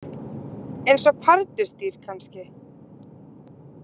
Eins og pardusdýr, kannski.